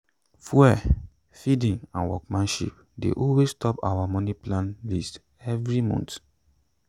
fuel feeding and workmanship dey always top our moni plan list every month.